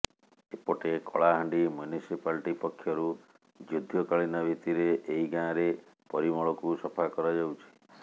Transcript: ଏପଟେ କଳାହାଣ୍ଡି ମ୍ୟୁନିସିପାଲିଟି ପକ୍ଷରୁ ଯୁଦ୍ଧକାଳୀନ ଭିତ୍ତିରେ ଏହି ଗାଁରେ ପରିମଳକୁ ସଫା କରାଯାଉଛି